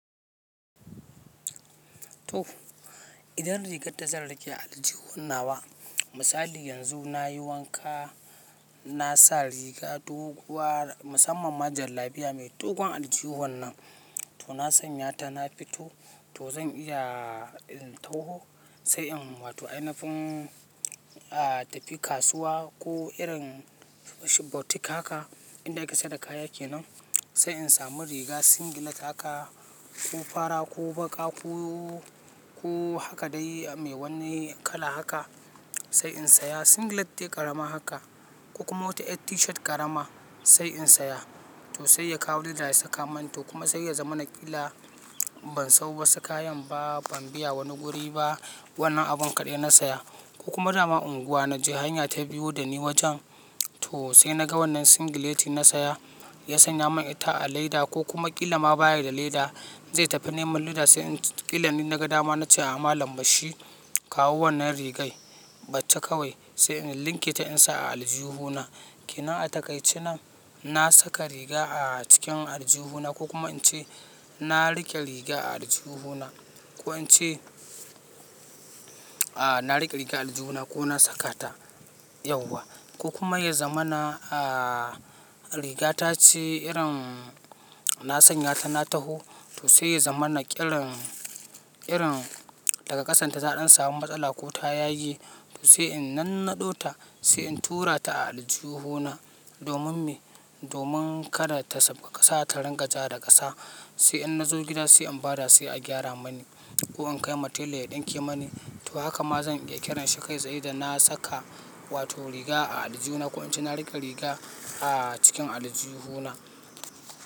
To, idan rigarta zan rike a aljihun nawa, misali yanzu na yi wanka, na sa riga doguwa musamman ma jallabiya mai dogon aljihun nan, to na sanya ta na fito toh zan iya in taho sai in wato ainafin, a tafi kasuwa ko irin washi boutique haka inda ake saka kaya kenan sai in samu riga singlet haka ko fara ko baƙa ko, ko haka dai mai wani kala haka sai in saya singlet dai ƙarama haka ko kuma wata yar tishat ƙarama sai in saya toh sai ya kawo leda ya saka man toh kuma sai ya zama na ƙila ban sawo wasu kayan ba, ban biya wani guri ba wannan abun kaɗai na saya ko kuma dama unguwa na je hanya ta biyu da ni wajen toh sai naga wannan singleti na saya ya sanya min ita a leda ko kuma ƙila ma baya da leda zai tafi neman leda sai in tt--ƙilanin ina ga dama na ce a malam bashi kawo wannan rigai batta kawai sai in linketa in sa a aljihuna. Kinan a takaici nan na saka riga a cikin aljihuna ko kuma in ce na riƙe riga a aljihuna ko in ce, a na riƙe riga a aljihuna ko na saka ta yauwa ko kuma yazamana a riga tace irin na sanya ta na taho toh sai ya zamana ƙirin, ƙirin daga ƙasan ta za'a dan samu matsala ko ta yage toh sai in nannaɗo ta sai in tura ta a aljihuna domin me, domin kada ta safa ƙasa ta ringa ja da ƙasa sai in na zo gida sai in bada sai a gyara mani ko in kai ma tela ya ɗinke mani toh haka ma zan iya ƙiranshi kai sai da na saka wato riga a aljihuna ko in ce na riƙe riga a cikin aljihuna.